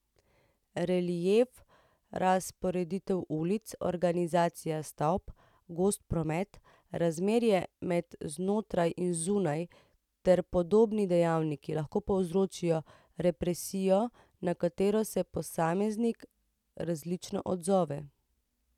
Relief, razporeditev ulic, organizacija stavb, gost promet, razmerje med znotraj in zunaj ter podobni dejavniki lahko povzročajo represijo, na katero se posameznik različno odzove.